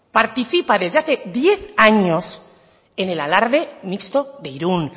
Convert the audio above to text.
participa desde hace diez años en el alarde mixto de irún